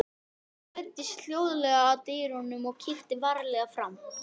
Einína, stilltu tímamælinn á sextíu mínútur.